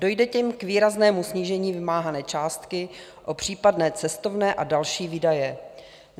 Dojde tím k výraznému snížení vymáhané částky o případné cestovné a další výdaje.